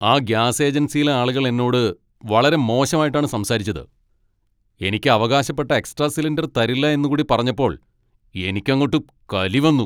ആ ഗ്യാസ് ഏജൻസിയിലെ ആളുകൾ എന്നോട് വളരെ മോശമായിട്ടാണ് സംസാരിച്ചത്. എനിക്ക് അവകാശപ്പെട്ട എക്സ്ട്രാ സിലിണ്ടർ തരില്ല എന്നുകൂടി പറഞ്ഞപ്പോൾ എനിക്കങ്ങോട്ട് കലി വന്നു.